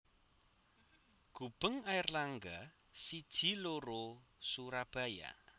Gubeng Airlangga siji loro Surabaya